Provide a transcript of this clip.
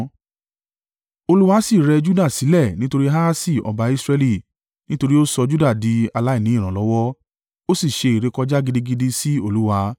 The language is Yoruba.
Olúwa sì rẹ Juda sílẹ̀ nítorí Ahasi ọba Israẹli, nítorí ó sọ Juda di aláìní ìrànlọ́wọ́, ó sì ṣe ìrékọjá gidigidi sí Olúwa.